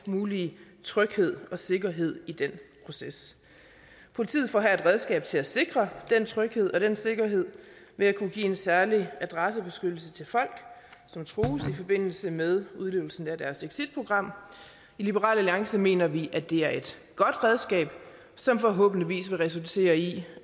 mulige tryghed og sikkerhed i den proces politiet får her et redskab til at sikre den tryghed og den sikkerhed ved at kunne give en særlig adressebeskyttelse til folk som trues i forbindelse med deres exitprogram i liberal alliance mener vi at det er et godt redskab som forhåbentlig vil resultere i